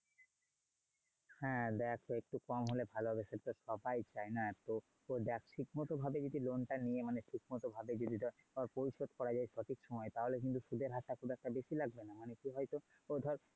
হ্যাঁ দেখ একটু কম হলে ভালো হবে সেতো সবাই চায় না! তো দেখ ঠিক মতো ভাবে যদি loan তা নিয়ে মানে ঠিক মত ভাবে যদি পরিশোধ করা যায় সঠিক সময় তাহলে কিন্তু সুধের হারটা খুব একটা বেশি লাগবে না। অনেককে হয়তো। ও ধর।